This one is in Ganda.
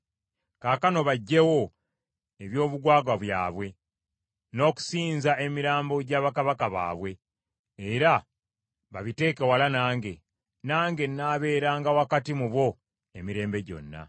Kaakano baggyewo eby’obugwagwa byabwe, n’okusinza emirambo gya bakabaka baabwe, era babiteeke wala nange, nange naabeeranga wakati mu bo emirembe gyonna.